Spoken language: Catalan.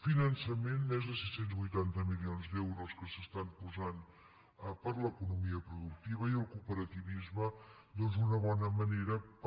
finançament més de sis cents i vuitanta milions d’euros que s’estan posant per a l’economia productiva i el cooperativisme doncs una bona manera per